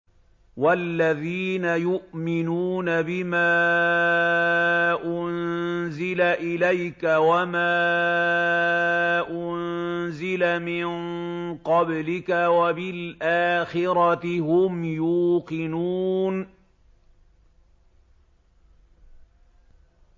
وَالَّذِينَ يُؤْمِنُونَ بِمَا أُنزِلَ إِلَيْكَ وَمَا أُنزِلَ مِن قَبْلِكَ وَبِالْآخِرَةِ هُمْ يُوقِنُونَ